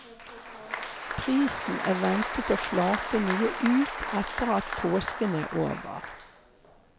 Prisen er ventet å flate noe ut etter at påsken er over.